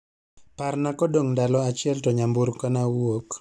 Parna kodong' ndalo achiel to nyamburko na wuok.